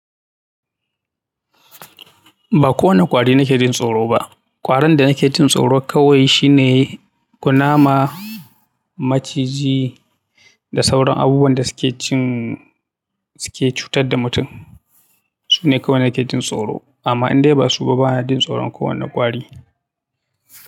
Ba kowani ƙwari na ke jin tsoro ba. Ƙwarin da na ke jin tsoro kawai shine kunama, maciji da sauran abubuwan da suke cin, suke cutar da mutum. Su ne kawai da na ke jin tsoro. Amma in dai ba su ba, bana jin tsoron kowani ƙwari.